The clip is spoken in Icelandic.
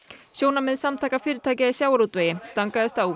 sjónarmið Samtaka fyrirtækja í sjávarútvegi stangaðist á við